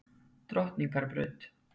Drottningarbraut